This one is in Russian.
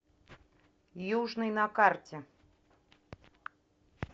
южный на карте